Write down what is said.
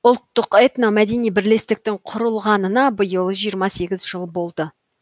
ұлттық этномәдени бірлестіктің құрылғанына биыл жиырма сегіз жыл болды